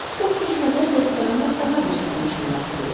Çox keçmədən restorana daha bir sərnişin daxil oldu.